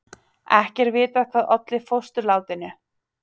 Ekki er vitað hvað olli fósturlátinu